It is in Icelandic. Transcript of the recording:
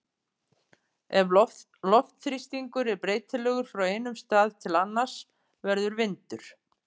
Ef loftþrýstingur er breytilegur frá einum stað til annars verður vindur.